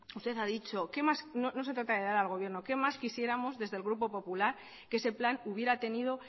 usted ha dicho que no se trata de dar al gobierno qué más quisiéramos desde el grupo popular que ese plan hubiera tenido